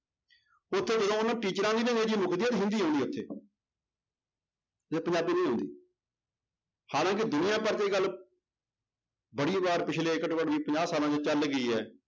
ਉੱਥੇ ਜਦੋਂ ਉਹਨਾਂ ਟੀਚਰਾਂ ਅੰਗਰੇਜੀ ਮੁਕਦੀ ਹੈ ਹਿੰਦੀ ਉੱਥੇ ਜੇ ਪੰਜਾਬੀ ਨਹੀਂ ਆਉਂਦੀ ਹਾਲਾਂਕਿ ਦੁਨੀਆਂ ਭਰ 'ਚ ਇਹ ਗੱਲ ਬੜੀ ਵਾਰ ਪਿੱਛਲੇ ਘੱਟੋ ਘੱਟ ਵੀ ਪੰਜਾਹ ਸਾਲਾਂ 'ਚ ਚੱਲ ਗਈ ਹੈ